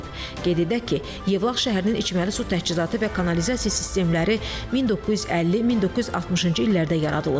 Qeyd edək ki, Yevlax şəhərinin içməli su təchizatı və kanalizasiya sistemləri 1950-1960-cı illərdə yaradılıb.